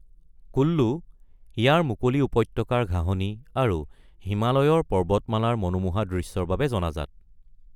কুল্লু ইয়াৰ মুকলি উপত্যকাৰ ঘাঁহনি আৰু হিমালয়ৰ পৰ্বতমালাৰ মনোমোহা দৃশ্যৰ বাবে জনাজাত।